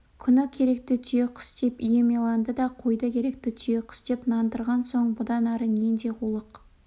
күні керікті түйеқұс деп ем иланды да қойды керікті түйеқұс деп нандырған соң бұдан ары нендей қулық